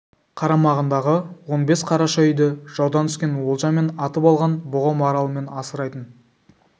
қарамағындағы он бес қараша үйді жаудан түскен олжа мен атып алған бұғы-маралымен асырайтын